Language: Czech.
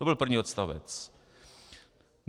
To byl první odstavec.